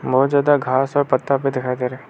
बहुत ज्यादा घास और पत्ता भी दिखाई दे रहा है।